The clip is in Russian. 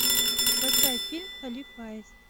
поставь фильм халиф аист